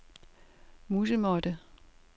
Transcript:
musemåtte